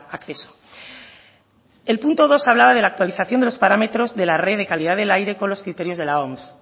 acceso el punto dos hablaba de la actualización de los parámetros de la red de calidad del aire con los criterios de la oms